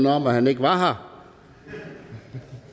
at han ikke var her